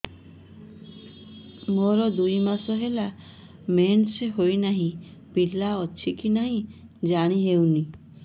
ମୋର ଦୁଇ ମାସ ହେଲା ମେନ୍ସେସ ହୋଇ ନାହିଁ ପିଲା ଅଛି କି ନାହିଁ ଜାଣି ହେଉନି